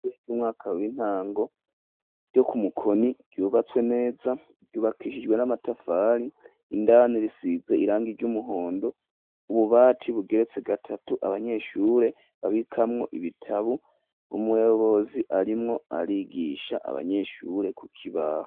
Ishure ry'umwaka w'intango ryo ku mukoni ryubatswe neza yubakishijwe n'amatafari indani risize irangi ry'umuhondo ububati bugeretse gatatu abanyeshure babikamwo ibitabu umuyobozi arimwo arigisha abanyeshure ku kibaho.